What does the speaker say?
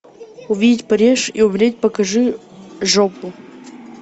увидеть париж и умереть покажи жопу